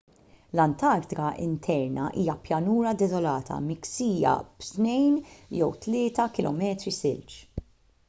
l-antartika interna hija pjanura deżolata miksija b’2-3 km silġ